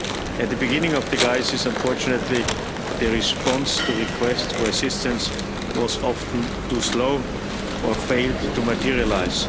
At the beginning of the crisis, unfortunately the response to requests for assistance was often too slow, or failed to materialise.